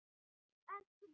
Elsku Dóra.